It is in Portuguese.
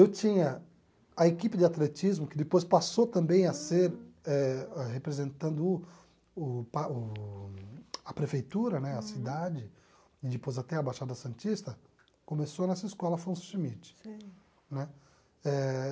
Eu tinha a equipe de atletismo, que depois passou também a ser eh, representando o o pa o a prefeitura né, a cidade, e depois até a Baixada Santista, começou nessa escola Afonso Schmidt. Sei. Né eh